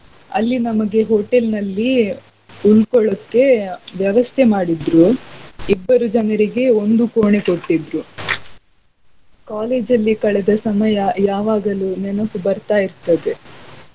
ಅಲ್ಲಿ ನಮಗೆ hotel ನಲ್ಲಿ ಉಳ್ಕೊಳ್ಳೊಕೆ ವ್ಯವಸ್ಥೆ ಮಾಡಿದ್ರು ಇಬ್ಬರು ಜನರಿಗೆ ಒಂದು ಕೋಣೆ ಕೊಟ್ಟಿದ್ರು. college ಲ್ಲಿ ಕಳೆದ ಸಮಯಾ ಯಾವಾಗಲು ನೆನಪು ಬರ್ತಾ ಇರ್ತದೆ.